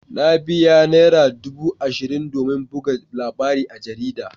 Na biya naira dubu ashirin domin buga labarin a jarida.